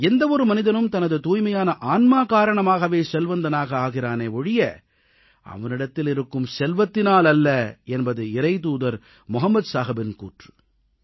எந்த ஒரு மனிதனும் தனது தூய்மையான ஆன்மா காரணமாகவே செல்வந்தனாக ஆகிறானே ஒழிய அவனிடத்தில் இருக்கும் செல்வத்தினால் அல்ல என்பது இறைத்தூதர் முகமது நபிகளின் கூற்று